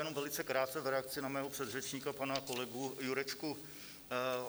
Jenom velice krátce v reakci na mého předřečníka, pana kolegu Jurečku.